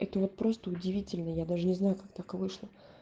это вот просто удивительно я даже не знаю как так вышло